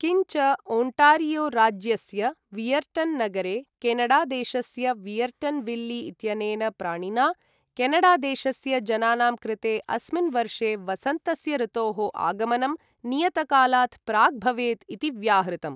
किञ्च ओण्टारियो राज्यस्य वियर्टन् नगरे केनडादेशस्य वियर्टन् विल्ली इत्यनेन प्राणिना केनडादेशस्य जनानां कृते अस्मिन् वर्षे वसन्तस्य ऋतोः आगमनं नियतकालात् प्राक् भवेत् इति व्याहृतम्।